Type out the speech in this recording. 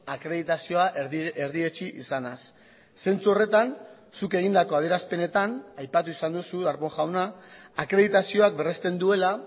akreditazioa erdietsi izanaz zentzu horretan zuk egindako adierazpenetan aipatu izan duzu darpón jauna akreditazioak berrezten duela